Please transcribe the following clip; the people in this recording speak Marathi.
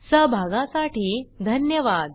सहभागासाठी धन्यवाद